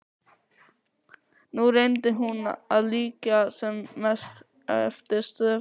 Nú reyndi hún að líkja sem mest eftir stöfunum.